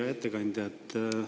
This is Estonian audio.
Hea ettekandja!